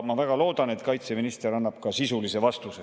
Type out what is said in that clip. Ma väga loodan, et kaitseminister annab sellele ka sisulise vastuse.